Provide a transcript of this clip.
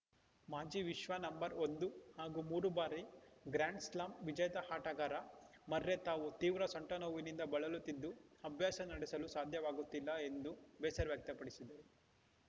ಮಾಜಿ ವಿಶ್ವ ನಂಬರ್ ಒಂದು ಹಾಗೂ ಮೂರು ಬಾರಿ ಗ್ರ್ಯಾಂಡ್‌ಸ್ಲಾಂ ವಿಜೇತ ಆಟಗಾರ ಮರ್ರೆ ತಾವು ತೀವ್ರ ಸೊಂಟ ನೋವಿನಿಂದ ಬಳಲುತ್ತಿದ್ದು ಅಭ್ಯಾಸ ನಡೆಸಲು ಸಹ ಆಗುತ್ತಿಲ್ಲ ಎಂದು ಬೇಸರ ವ್ಯಕ್ತಪಡಿಸಿದರು